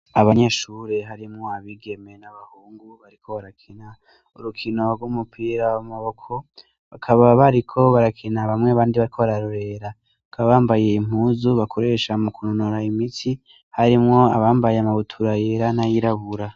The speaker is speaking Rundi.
Abanyeshuri harimwo abigeme n'abahungu bariko barakina urukino rw'umupira w'amaboko bakaba bariko barakina bwamwe abandi bariko bararorera bakaba bambaye impuzu bakoresha mu kunonora imitsi harimwo abambaye amabutura yera n'ayirabura.